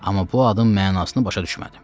Amma bu adın mənasını başa düşmədim.